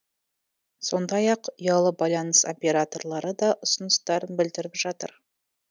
сондай ақ ұялы байланыс операторлары да ұсыныстарын білдіріп жатыр